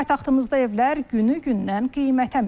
Paytaxtımızda evlər günü-gündən qiymətə minir.